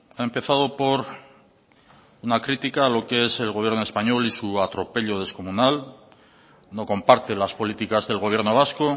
ha empezado por una crítica a lo que es el gobierno español y su atropello descomunal no comparte las políticas del gobierno vasco